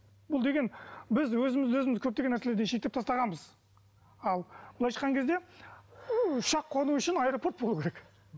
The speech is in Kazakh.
бұл деген біз өзімізді өзіміз көптеген нәрселерден шеттеп тастағанбыз ал былайша айтқан кезде ұшақ қону үшін аэропорт болу керек